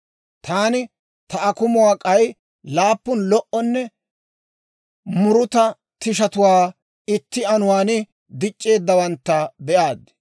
«Taani ta akumuwaan k'ay laappun lo"anne muruta tishatuwaa itti anuwaan dic'c'eeddawantta be'aaddi.